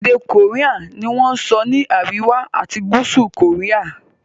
èdè Korean ní wón sọ ni àríwá ati gúúsù Korea.